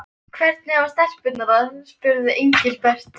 Hvernig hafa stelpurnar það? spurði Engilbert.